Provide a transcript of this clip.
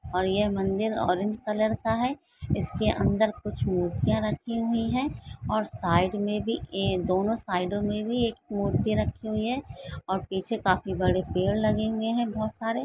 और यह मन्दिर ऑरेंज कलर का है इसके अंदर कुछ मूर्तियां रखी हुई है और साइड में भी ये और दोनों साइडों में भी मूर्ति रखी हुई है और पीछे काफी पेड़ लगे हुए है बहुत सारे।